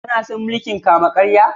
Kana son mulki'n kama-karya?